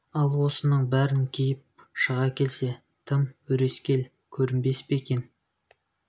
ал осының бәрін киіп шыға келсе тым өрескел көрінбес екен